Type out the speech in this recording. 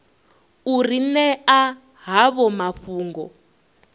u ri ṅea havho mafhungo